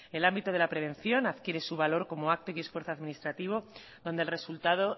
el ámbito de la prevención adquiere su valor como acto y esfuerzo administrativo donde el resultado